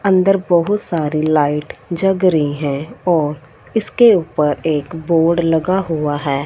अंदर बहुत सारी लाइट जग रही हैं और इसके ऊपर एक बोर्ड लगा हुआ है।